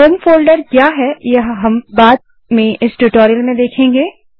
home folder क्या है यह हम बाद में इस ट्यूटोरियल में देखेंगे